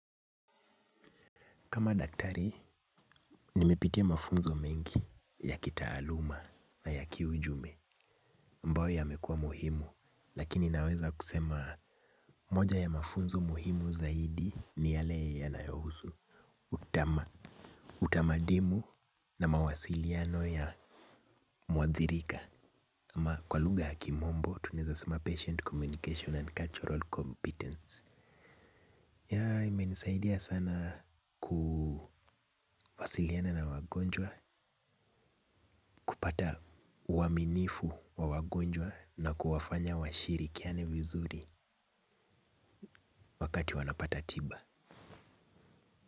Kama daktari, nimepitia mafunzo mingi ya kitaaluma na ya kiujume ambao yamekuwa muhimu, lakini naweza kusema moja ya mafunzo muhimu zaidi ni yale yanayohusu utamadimu na mawasiliano ya muathirika ama kwa lugha ya kimombo tuneza sema patient communication and cultural competence. Yea, imenisaidia sana kuwasiliana na wagonjwa, kupata uaminifu wa wagonjwa na kuwafanya washirikiane vizuri wakati wanapata tiba.